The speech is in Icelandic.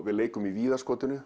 við leikum